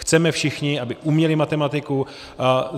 Chceme všichni, aby uměli matematiku.